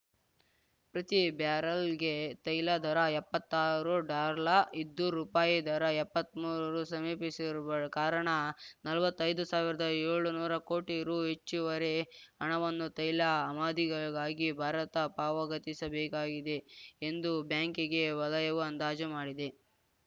ಪ್ರತಿ ಬ್ಯಾರಲ್‌ಗೆ ತೈಲ ದರ ಎಪ್ಪತ್ತಾರು ಡಾರ್ಲ ಇದ್ದು ರುಪಾಯಿ ದರ ಎಪ್ಪತ್ಮೂರು ರು ಸಮೀಪಿಸಿರುವ ಕಾರಣ ನಲ್ವತ್ತೈದು ಸಾವಿರ್ದಾಏಳ್ನೂರು ಕೋಟಿ ರು ಹೆಚ್ಚುವರಿ ಹಣವನ್ನು ತೈಲ ಆಮದಿಗಾಗಿ ಭಾರತ ಪಾವಗತಿಸಬೇಕಿದೆ ಎಂದು ಬ್ಯಾಂಕಿಂಗ್‌ ವಲಯವು ಅಂದಾಜು ಮಾಡಿದೆ